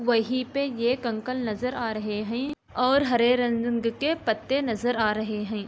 वही पे ये कंकर नज़र आ रहे हैं और हरे रंग के पत्ते नज़र आ रहे हैं।